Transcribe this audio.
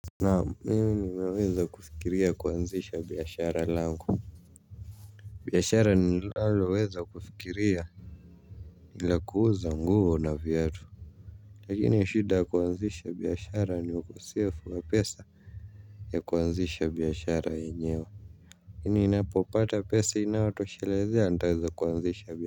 Naam mimi nimeweza kufikiria kuanzisha biashara langu. Biashara ninalaloweza kufikiria ni la kuuza nguo na viatu. Lakini shida ya kuanzisha biashara ni ukosefu wa pesa ya kuanzisha biashara yenyewe lakini ninapopata pesa inayotoshelezea nitaweza kuanzisha biashara.